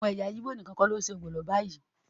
Àwọn ẹyà Igbo nìkan kọ́ ni ṣe ọbẹ̀ ogbono báyìí